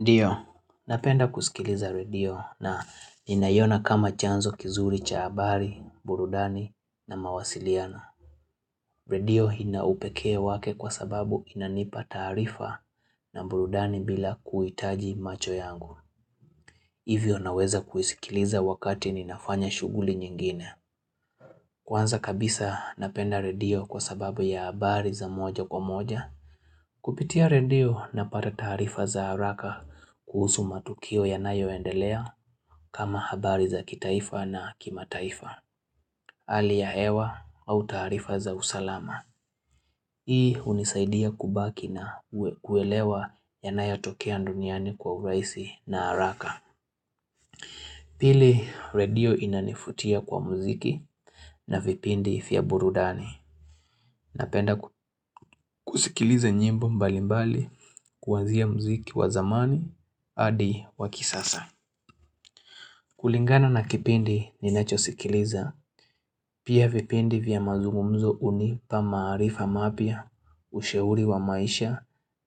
Ndio, napenda kuskiliza redio na ninaiona kama chanzo kizuri cha habari, burundani na mawasiliano. Redio ina upekee wake kwa sababu inanipa taarifa na burundani bila kuhitaji macho yangu. Hivyo naweza kuisikiliza wakati ninafanya shughuli nyingine. Kwanza kabisa napenda redio kwa sababu ya habari za moja kwa moja. Kupitia redio na pata taarifa za haraka kuhusu matukio yanayo endelea kama habari za kitaifa na kima taifa, hali ya hewa au taarifa za usalama. Hii hunisaidia kubaki na kuelewa yanayo tokea duniani kwa urahisi na haraka. Pili redio inanivutia kwa muziki na vipindi vya burudani. Napenda kusikiliza nyimbo mbalimbali, kuanzia mziki wa zamani, hadi wa kisasa. Kulingana na kipindi ninachosikiliza, pia vipindi vya mazungumzo hunipa maarifa mapya, usheuri wa maisha